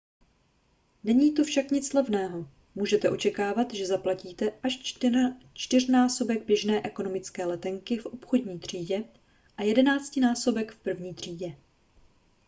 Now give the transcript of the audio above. není to však nic levného můžete očekávat že zaplatíte až čtyřnásobek běžné ekonomické letenky v obchodní třídě a jedenáctinásobek v první třídě